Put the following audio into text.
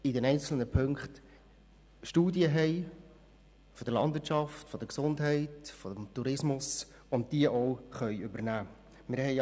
In den einzelnen Punkten haben wir Studien aus der Landwirtschaft, der Gesundheit oder des Tourismus, die wir auch übernehmen können.